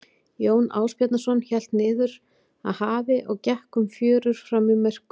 Jón Ásbjarnarson hélt niður að hafi og gekk um fjörur fram í myrkur.